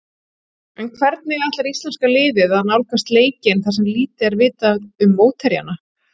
En hvernig ætlar íslenska liðið að nálgast leikinn þar sem lítið er vitað um mótherjana?